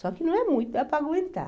Só que não é muito, dá para aguentar.